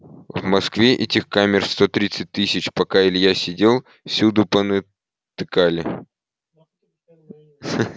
в москве этих камер сто тридцать тысяч пока илья сидел всюду понатыкали